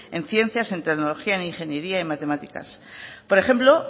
en ciencias en tecnología en ingeniería y matemáticas por ejemplo